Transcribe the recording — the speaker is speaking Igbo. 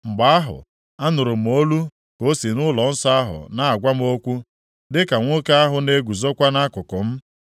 Mgbe ahụ, anụrụ m olu ka o si nʼụlọnsọ ahụ na-agwa m okwu, dịka nwoke ahụ na-eguzokwa nʼakụkụ m.